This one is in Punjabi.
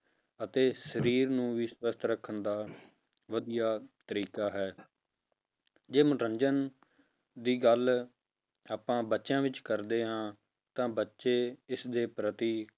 ਅਤੇ ਸਰੀਰ ਨੂੰ ਵੀ ਸਵਸਥ ਰੱਖਣ ਦਾ ਵਧੀਆ ਤਰੀਕਾ ਹੈ ਜੇ ਮਨੋਰੰਜਨ ਦੀ ਗੱਲ ਆਪਾਂ ਬੱਚਿਆਂ ਵਿੱਚ ਕਰਦੇ ਹਾਂ ਤਾਂ ਬੱਚੇ ਇਸ ਦੇ ਪ੍ਰਤੀ